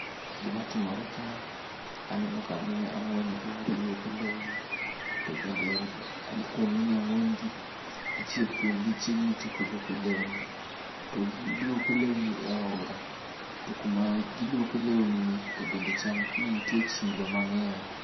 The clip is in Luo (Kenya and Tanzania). Gima timore ka aneno ka mine ang'wen olung'ore luoko lewni. To bende kuom mine ang'wen gi, achiel kuom gi ochiegni tieko luoko lewni. To giluoko lewni ei aora. To kuma giluoke lewni ni, chal ni nitie chilo mang'eny.